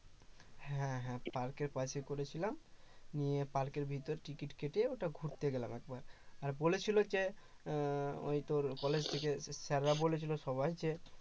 হ্যাঁ হ্যাঁ পার্কের পাশেই করেছিলাম নিয়ে পার্কের ভেতর টিকিট কেটে ওটা ঘুরতে গেলাম একবার আর বলেছিল যে আহ ওই তোর college থেকে স্যারেরা বলেছিল সবাইকে